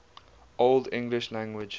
old english language